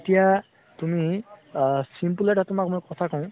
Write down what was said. এতিয়া তুমি আ simple এটা তোমাক কথা কওঁ